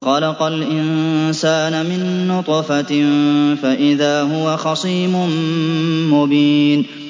خَلَقَ الْإِنسَانَ مِن نُّطْفَةٍ فَإِذَا هُوَ خَصِيمٌ مُّبِينٌ